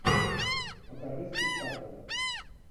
покажи спектакль